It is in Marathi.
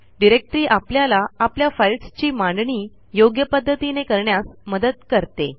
डिरेक्टरी आपल्याला आपल्या फाईल्सची मांडणी योग्य पध्दतीने करण्यास मदत करते